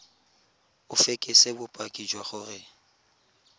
o fekese bopaki jwa gore